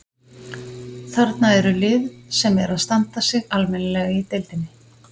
Þarna eru lið sem eru að standa sig almennilega í deildinni.